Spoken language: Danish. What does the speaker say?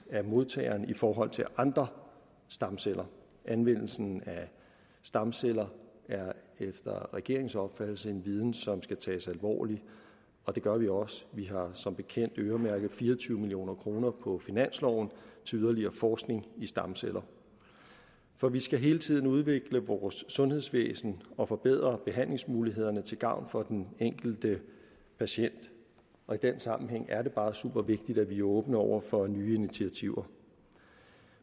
af modtageren i forhold til andre stamceller anvendelsen af stamceller er efter regeringens opfattelse en viden som skal tages alvorligt og det gør vi også vi har som bekendt øremærket fire og tyve million kroner på finansloven til yderligere forskning i stamceller for vi skal hele tiden udvikle vores sundhedsvæsen og forbedre behandlingsmulighederne til gavn for den enkelte patient og i den sammenhæng er det bare supervigtigt at vi er åbne over for nye initiativer